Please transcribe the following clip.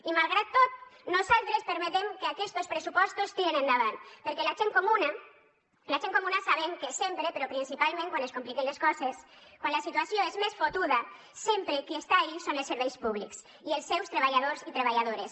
i malgrat tot nosaltres permetem que aquestos pressupostos tiren endavant perquè la gent comuna sabem que sempre però principalment quan es compliquen les coses quan la situació és més fotuda sempre qui està allí són els serveis públics i els seus treballadors i treballadores